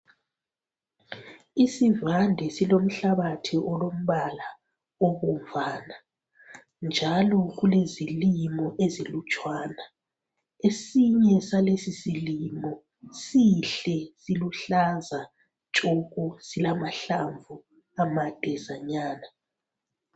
Isivande silomhlabathi olombala obomvana njalo kulezilimo ezilutshwana, esinye salesi silimo sihle siluhlaza tshoko silamahlamvu amadezanyana.